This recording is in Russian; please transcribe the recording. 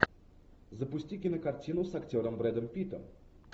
запусти кинокартину с актером брэдом питтом